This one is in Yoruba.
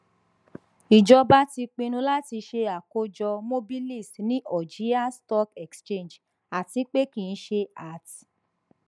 ijọba ti pinnu lati ṣe akojọ mobilis ni algiers stock exchange atipe kii ṣe at